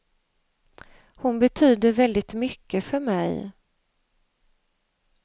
Hon betyder väldigt mycket för mig.